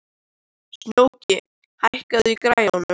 Snjóki, hækkaðu í græjunum.